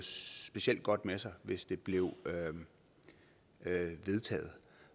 specielt godt med sig hvis det blev vedtaget